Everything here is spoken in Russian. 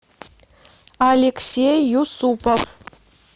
алексей юсупов